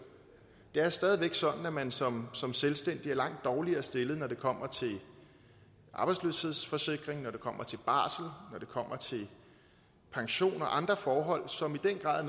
det er stadig væk sådan at man som som selvstændig er langt dårligere stillet når det kommer til arbejdsløshedsforsikring når det kommer til barsel når det kommer til pension og andre forhold som i den grad